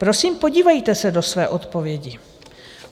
Prosím, podívejte se do své odpovědi.